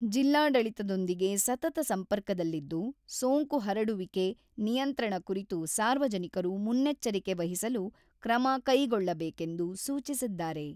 ಜಿಲ್ಲಾಡಳಿತದೊಂದಿಗೆ ಸತತ ಸಂಪರ್ಕದಲ್ಲಿದ್ದು, ಸೋಂಕು ಹರಡುವಿಕೆ ನಿಯಂತ್ರಣ ಕುರಿತು ಸಾರ್ವಜನಿಕರು ಮುನ್ನೆಚ್ಚರಿಕೆ ವಹಿಸಲು ಕ್ರಮ ಕೈಗೊಳ್ಳಬೇಕೆಂದು ಸೂಚಿಸಿದ್ದಾರೆ.